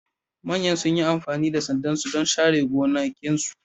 Manyan sun yi amfani da sanda don share gonakinsu